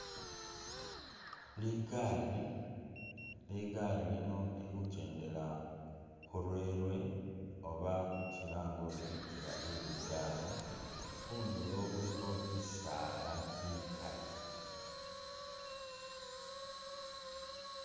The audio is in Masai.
Ligari, ligari lino lili khukendela khu railway oba kilange ori inzila iye ligari. Khundulo khulikho bisaala bikali.